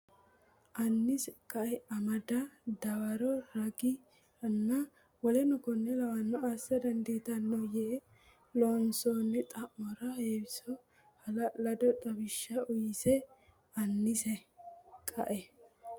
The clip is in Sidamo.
Annise qae amada Dawaro ragi ranna w k l assa dandiitanno yee loossinoonni xa mora Heewiso hala lado xawishsha uyse Annise qae.